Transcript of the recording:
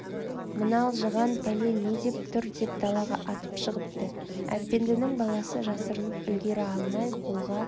мына алжыған пәле не деп тұр деп далаға атып шығыпты әпендінің баласы жасырынып үлгере алмай қолға